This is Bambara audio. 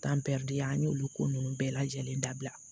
an y'olu ko ninnu bɛɛ lajɛlen dabila